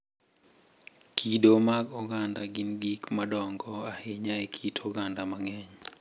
Kido mag oganda gin gik madongo ahinya e kit oganda mang’eny,